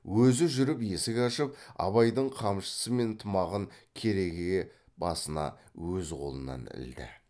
өзі жүріп есік ашып абайдың қамшысы мен тымағын керегеге басына өз қолынан ілді